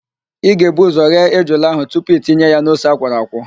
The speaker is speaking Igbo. Ị ga-ebu ụzọ ghee ejula ahụ tupu itinye ya n'ose akwọrọ akwọ